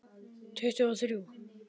Tuttugu og þrjú!